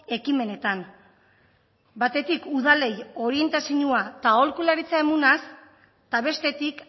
ekimenetan batetik udalei orientaziñua eta aholkularitza emunaz eta bestetik